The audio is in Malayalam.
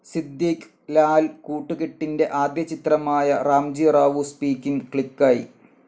സിദ്ധിക്ക് ലാൽ കൂട്ടുകെട്ടിൻ്റെ ആദ്യ ചിത്രമായ റാംജി റാവു സ്പൈക്കിങ്‌ ക്ലിക്കായി.